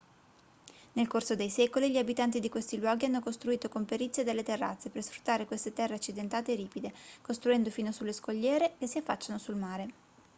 nel corso dei secoli gli abitanti di questi luoghi hanno costruito con perizia delle terrazze per sfruttare queste terre accidentate e ripide costruendo fino sulle scogliere che si affacciano sul mare